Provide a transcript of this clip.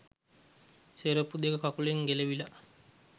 සෙරෙප්පු දෙක කකුලෙන් ගැලවිලා.